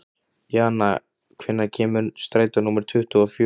Jana, hvenær kemur strætó númer tuttugu og fjögur?